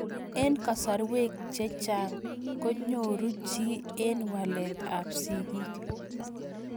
Eng' kasarwek che chang' ko nyoru chii eng' walet ab sigik